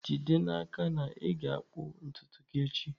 Jide n'aka na ị ga-akpụ ntutu gị echi!